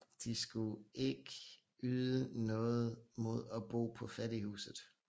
De skulle ikke yde noget mod at bo på fattighuset